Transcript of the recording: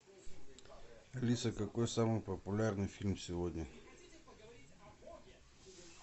алиса какой самый популярный фильм сегодня